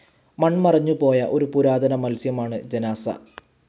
മൺമറഞ്ഞു പോയ ഒരു പുരാതന മത്സ്യം ആണ് ജനാസ്സ.